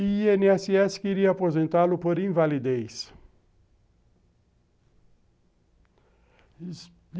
E o i ene esse esse queria aposentá-lo por invalidez